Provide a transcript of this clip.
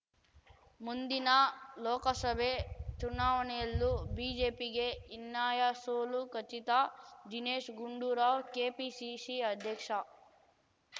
ಮುಂದಿನ ಲೋಕಸಭೆ ಚುನಾವಣೆಯಲ್ಲೂ ಬಿಜೆಪಿಗೆ ಹೀನ್ನಾಯ ಸೋಲು ಖಚಿತ ದಿನೇಶ್‌ ಗುಂಡೂರಾವ್‌ ಕೆಪಿಸಿಸಿ ಅಧ್ಯಕ್ಷ